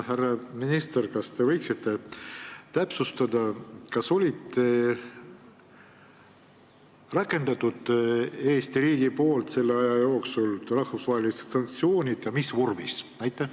Härra minister, kas te võiksite täpsustada, kas selle aja jooksul on Eesti riik rakendanud rahvusvahelisi sanktsioone ja kui on, siis mis vormis?